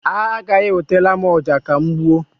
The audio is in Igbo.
Ha agaghị ewetara m ọja ka m gbuo.